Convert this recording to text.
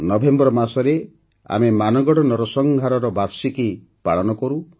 November ମାସରେ ଆମେ ମାନଗଡ଼ ନରସଂହାରର ବାର୍ଷିକୀ ପାଳନ କରୁ